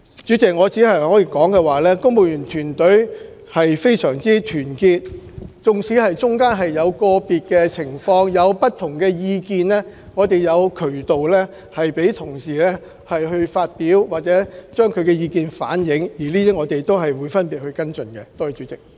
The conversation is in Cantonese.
主席，我只可以說，公務員團隊非常團結，其間縱使在個別情況有不同意見，我們亦有渠道讓同事反映意見，我們亦會個別作出跟進。